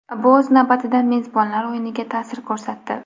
Bu o‘z navbatida mezbonlar o‘yiniga ta’sir ko‘rsatdi.